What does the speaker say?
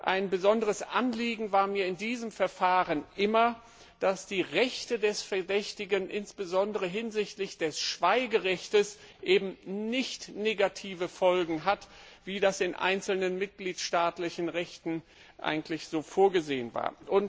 Ein besonderes Anliegen war mir in diesem Verfahren immer, dass die Rechte des Verdächtigen insbesondere hinsichtlich des Schweigerechtes keine negativen Folgen haben, wie das in einzelnen mitgliedstaatlichen Rechten eigentlich so vorgesehen war.